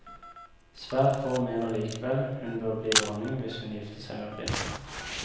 Svært få mener likevel hun bør bli dronning hvis hun gifter seg med prinsen.